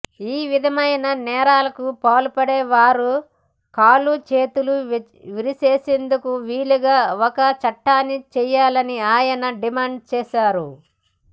ఈ విధమైన నేరాలకు పాల్పడే వారి కాళ్లు చేతులు విరిచేసేందుకు వీలుగా ఒక చట్టాన్ని చేయాలని ఆయన డిమాండ్ చేశారు